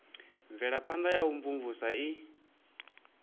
mvelaphana ya u imvumvusa i